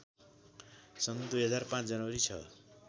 सन् २००५ जनवरी ६